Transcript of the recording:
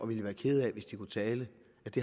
ville være kede af hvis de kunne tale